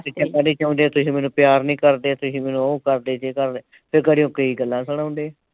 . ਕਹਿੰਦੇ ਤੁਸੀਂ ਮੈਨੂੰ ਪਿਆਰ ਨਈਂ ਕਰਦੇ ਤੁਸੀਂ ਮੈਨੂੰ ਉਹ ਕਰਦੇ ਜਿਸ ਸਾਬ੍ਹ ਨਾਲ ਫਿਰ ਖੜੇ ਹੋ ਕੇ ਕਈ ਗੱਲਾਂ ਸੁਣਾਉਂਦੇ ਆ।